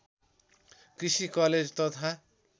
कृषि कलेज तथा